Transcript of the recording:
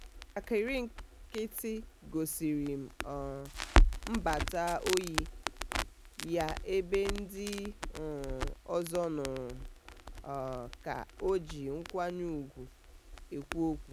njakịrị nkịtị gosiri um mbata ọyị ya ebe ndị um ọzọ nụrụ um ka o ji nkwanye ugwu ekwu okwu.